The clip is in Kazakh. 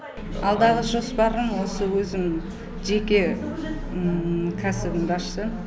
алдағы жоспарым осы өзім жеке кәсібімді ашсам